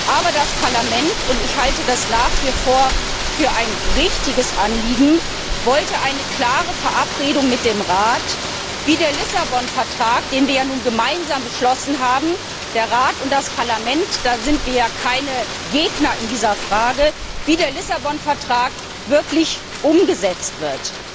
Aber das Parlament und ich halte das nach wie vor für ein richtiges Anliegen wollte eine klare Verabredung mit dem Rat, wie der Lissabon Vertrag, den wir ja nun gemeinsam beschlossen haben, der Rat und das Parlament in dieser Frage sind wir ja keine Gegner wirklich umgesetzt wird.